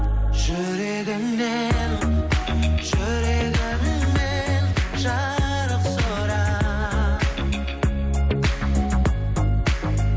жүрегіңнен жүрегіңнен жарық сұрап